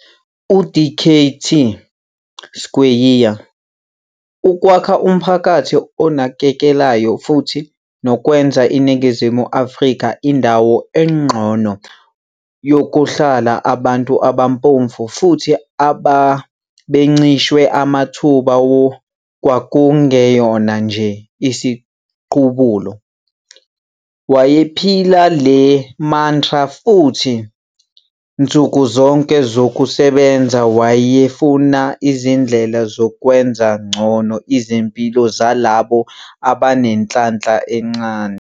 KuDkt Skweyiya, ukwakha umphakathi onakekelayo futhi nokwenza iNingizimu Afrika indawo engcono yokuhlala abantu abampofu futhi ababencishwe amathuba kwakungeyona nje isiqubulo. Wayephila le mantra futhi nsuku zonke zokusebenza wayefuna izindlela zokwenza ngcono izimpilo zalabo abanenhlanhla encane.